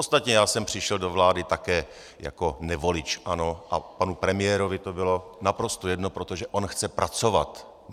Ostatně já jsem přišel do vlády také jako nevolič ANO a panu premiérovi to bylo naprosto jedno, protože on chce pracovat.